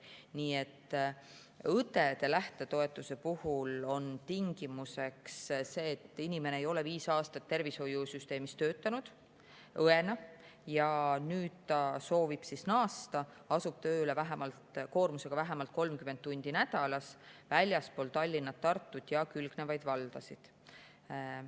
Nii et õdede lähtetoetuse puhul on tingimuseks see, et inimene ei ole viis aastat tervishoiusüsteemis õena töötanud ja nüüd ta soovib naasta ning asub tööle koormusega vähemalt 30 tundi nädalas väljapoole Tallinna ja Tartut ja külgnevaid valdasid.